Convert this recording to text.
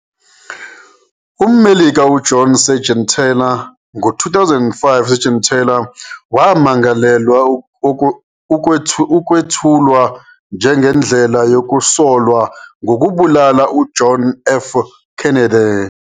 UmMelika uJohn Seigenthaler, ngo-2005 Seigenthaler wamangalelwa ukwethulwa njengendlela yokusolwa ngokubulala uJohn F. Kennedy.